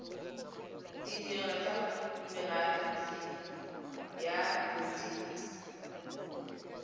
ditirelo tsa merafe ya bodit